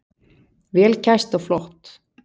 Vel kæst og flott.